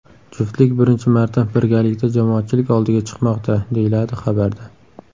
Juftlik birinchi marta birgalikda jamoatchilik oldiga chiqmoqda, deyiladi xabarda.